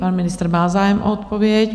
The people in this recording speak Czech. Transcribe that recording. Pan ministr má zájem o odpověď.